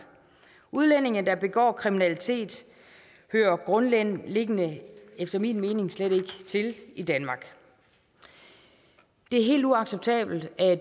udlændinge der begår kriminalitet hører grundlæggende efter min mening slet ikke til i danmark det er helt uacceptabelt at